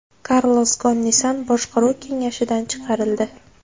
Karlos Gon Nissan boshqaruv kengashidan chiqarildi.